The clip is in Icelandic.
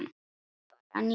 Skrepp bara niður.